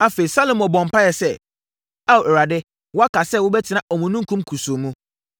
Afei, Salomo bɔɔ mpaeɛ sɛ, “Ao Awurade, woaka sɛ, wobɛtena omununkum kusuu mu.